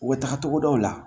U bɛ taga togodaw la